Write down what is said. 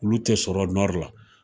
Olu te sɔrɔ nɔri la